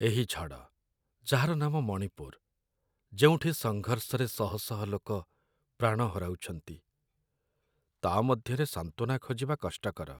ଏହି ଝଡ଼, ଯାହାର ନାମ ମଣିପୁର, ଯେଉଁଠି ସଙ୍ଘର୍ଷରେ ଶହ ଶହ ଲୋକ ପ୍ରାଣ ହରାଉଛନ୍ତି, ତା' ମଧ୍ୟରେ ସାନ୍ତ୍ୱନା ଖୋଜିବା କଷ୍ଟକର।